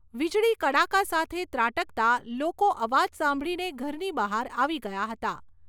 વીજળી કડાકા સાથે ત્રાટકતા લોકો અવાજ સાંભળીને ઘરની બહાર આવી ગયા હતા.